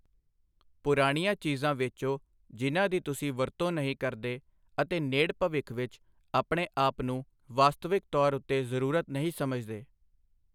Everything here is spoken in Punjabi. ਪੁਰਾਣੀਆਂ ਚੀਜ਼ਾਂ ਵੇਚੋ ਜਿਨ੍ਹਾਂ ਦੀ ਤੁਸੀਂ ਵਰਤੋਂ ਨਹੀਂ ਕਰਦੇ ਅਤੇ ਨੇੜ ਭਵਿੱਖ ਵਿੱਚ ਆਪਣੇ ਆਪ ਨੂੰ ਵਾਸਤਵਿਕ ਤੌਰ ਉੱਤੇ ਜ਼ਰੂਰਤ ਨਹੀਂ ਸਮਝਦੇ।